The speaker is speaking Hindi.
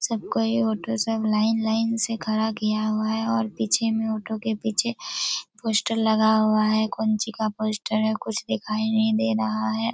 सब कोई ऑटो सब लाइन लाइन से खड़ा किया हुआ है और पीछे में ऑटो के पीछे पोस्टर लगा हुआ है पंछी का पोस्टर है कुछ दिखाई नहीं दे रहा है।